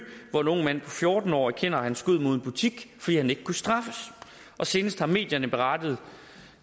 hvor en ung mand på fjorten år erkender at han skød mod en butik fordi han ikke kunne straffes og senest har medierne berettet